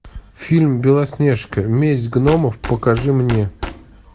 фильм белоснежка месть гномов покажи мне